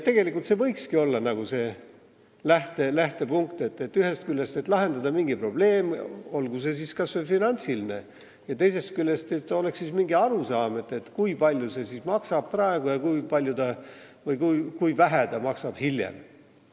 Tegelikult võikski see olla lähtepunkt, ühest küljest, et saaks lahendatud mingi probleem, olgu see siis kas või finantsiline, ja teisest küljest, et oleks mingi arusaam, kui palju see siis maksab praegu ja kui palju või kui vähe see maksab hiljem.